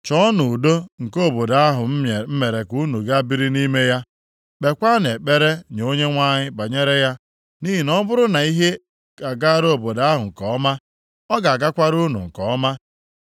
Chọọnụ udo nke obodo ahụ m mere ka unu gaa biri nʼime ya. Kpeekwanụ ekpere nye Onyenwe anyị banyere ya. Nʼihi na ọ bụrụ na ihe agaara obodo ahụ nke ọma, ọ ga-agakwara unu nke ọma.”